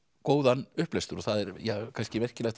góðan upplestur og það er kannski merkilegt